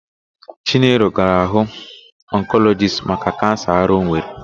Chinelo gara hụ ọnkọlọjist maka kansa ara ọ nwere.